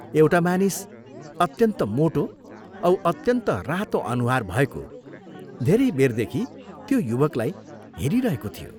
एउटा मानिस, अत्यन्त मोटो औ अत्यन्त रातो अनुहार भएको धेरै बेरदेखि त्यो युवकलाई हेरिरहेको थियो।